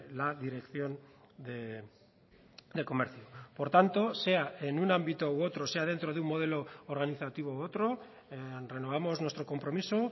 la dirección de comercio por tanto sea en un ámbito u otro sea dentro de un modelo organizativo u otro renovamos nuestro compromiso